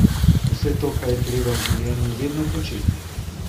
Vse to pa je treba v življenju vedno početi.